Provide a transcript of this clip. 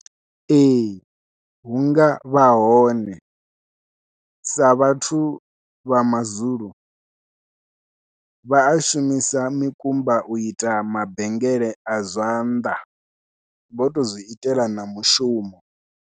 Ee hunga vha hone sa vhathu vha mazulu vha a shumisa mikumba u ita mabengele a zwanḓa vho to zwi itela na mushumo.